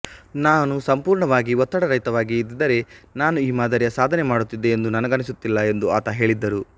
ನಾನು ಸಂಪೂರ್ಣವಾಗಿ ಒತ್ತಡರಹಿತವಾಗಿ ಇದ್ದಿದ್ದರೆ ನಾನು ಈ ಮಾದರಿಯ ಸಾಧನೆ ಮಾಡುತ್ತಿದ್ದೆ ಎಂದು ನನಗನಿಸುತ್ತಿಲ್ಲ ಎಂದು ಆತ ಹೇಳಿದ್ದರು